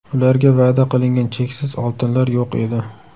Ularga va’da qilingan cheksiz oltinlar yo‘q edi.